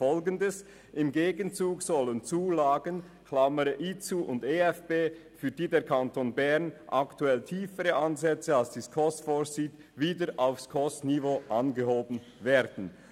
«Im Gegenzug sollen die Zulagen (IZU und EFB), für die der Kanton Bern aktuell tiefere Ansätze als die SKOS vorsieht, wieder auf SKOS-Niveau angehoben werden.